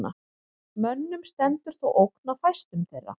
Mönnum stendur þó ógn af fæstum þeirra.